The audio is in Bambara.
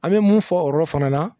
An bɛ mun fɔ o yɔrɔ fana na